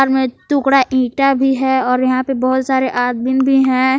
इसमें टुकड़ा ईंटा भी है और यहां पे बहुत सारे आदमीन भी हैं।